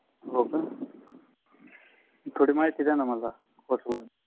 होका? तोडी महिती द्या ना मला